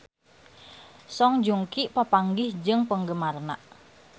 Song Joong Ki papanggih jeung penggemarna